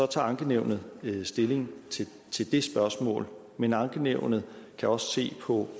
tager ankenævnet stilling til det spørgsmål men ankenævnet kan også se på